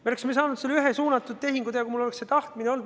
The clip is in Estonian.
Me oleksime saanud ka ühe suunatud tehingu teha, kui mul oleks see tahtmine olnud.